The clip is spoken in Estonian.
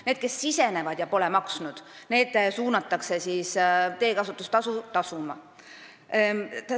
Need, kes sisenevad ja pole maksnud, suunatakse teekasutustasu tasuma.